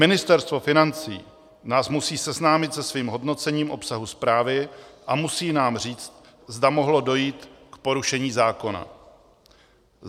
Ministerstvo financí nás musí seznámit se svým hodnocením obsahu zprávy a musí nám říct, zda mohlo dojít k porušení zákona.